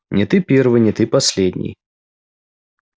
не ты первый не ты последний